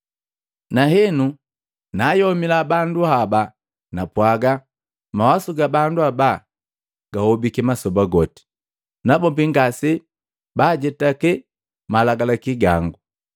Nahenu naayomila bandu haba napwaga, ‘Mawasu ga bandu haba gahobiki masoba goti, nabombi ngase bajetaki malagalaki gangu.’